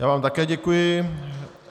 Já vám také děkuji.